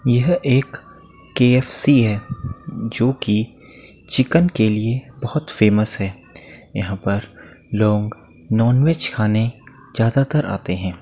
यह एक K. F. C. है जो की चिकन के लिए बहुत फेमस है। यहाँ पर लोग नॉन वेज खाने ज्यादातर आतें हैं।